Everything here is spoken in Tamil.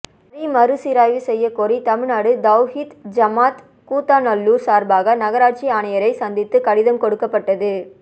வரி மறுசீராய்வு செய்ய கோரி தமிழ்நாடு தவ்ஹீத் ஜமாஅத் கூத்தாநல்லூர் சார்பாக நகராட்சி ஆணையரை சந்தித்து கடிதம் கொடுக்கப்பட்டது